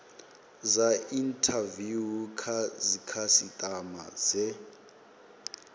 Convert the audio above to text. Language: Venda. dza inthaviwu kha dzikhasitama dze